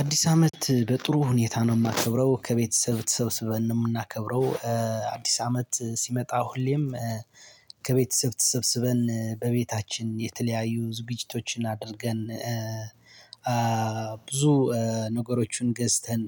አዲስ አመት በጥሩ ሁኔታ ነው እማከብረው ከቤተሰብ ተሰብስበን ነው የምናከብረው። አዲስ አመት ሲመጣ ሁሌም ከቤተሰብ ተሰብስበን በቤታችን የተለያዩ ዝግጅቶችን አድርገን። ብዙ ነገሮችን ገዝተን